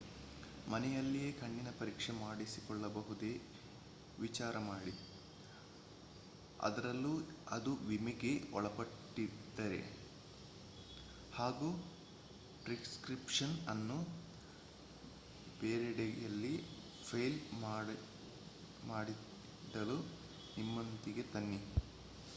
ಮನೆಯಲ್ಲಿಯೇ ಕಣ್ಣಿನ ಪರೀಕ್ಷೆ ಮಾಡಿಸಿಕೊಳ್ಳಬಹುದೇ ವಿಚಾರ ಮಾಡಿ ಅದರಲ್ಲೂ ಅದು ವಿಮೆಗೆ ಒಳಪಟ್ಟಿದ್ದರೆ ಹಾಗೂ ಪ್ರಿಸ್ಕ್ರಿಪ್ಷನ್ ಅನ್ನು ಬೇರೆಡೆಯಲ್ಲಿ ಫೈಲ್ ಮಾಡಿಡಲು ನಿಮ್ಮೊಂದಿಗೆ ತನ್ನಿ